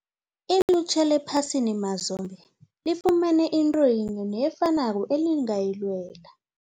Ilutjha lephasini mazombe lifumene into yinye nefanako elingayilwela.